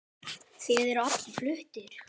Þeir eru allir fluttir